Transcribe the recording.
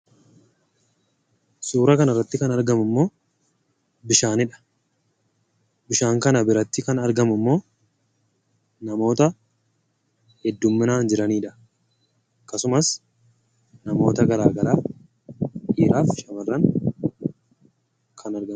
Suura kanarratti kan argamummoo bishaanidha. Bishaan kana biratti kan argamummoo namoota heddumminaan jiranidha. Akkasumas namoota garaa garaa dhiiraaf shamarran kan argaman.